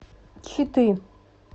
читы